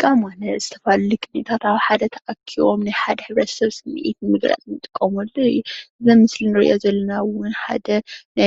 ሙዚቃ ማለት ዝተፈላለዩ ቅኒታት ኣብ ሓደ ተኣኪቦም ናይ ሓደ ብረተሰብ ስሚዒት ንምግላፅ እንጥቀመሉ እዩ። ብምስሊ እንሪእዮ ዘለና እውን ሓደ